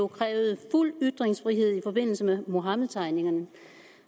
krævede fuld ytringsfrihed i forbindelse med muhammedtegningerne